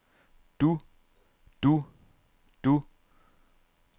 du du du